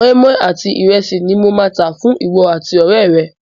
Mọ́ímọ́í àti ìrẹsì ni mo máa ta fún ìwọ àti ọ̀rẹ́ rẹ.